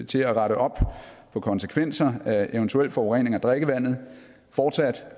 til at rette op på konsekvenser af eventuel forurening af drikkevandet fortsat